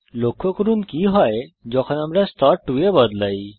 লক্ষ্য করুনকি হয় যখন আমরা স্তর 2 এ বদলাই